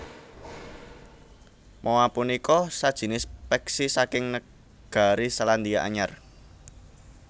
Moa punika sajinis peksi saking negari Selandia Anyar